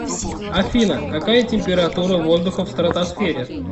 афина какая температура воздуха в стратосфере